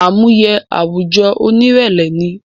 Àmúye àwùjọ oní ìrẹlẹ ni